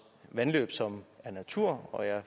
vandløb som er natur og jeg er